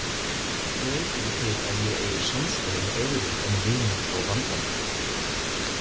Ég veit ekki til að ég eigi samstöðu með öðrum en vinum og vandamönnum.